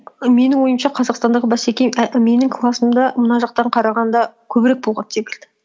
і менің ойымша қазақстандағы бәсеке і менің классымда мына жақтан қарағанда көбірек болған секілді